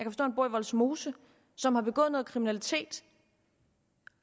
han bor i vollsmose som har begået noget kriminalitet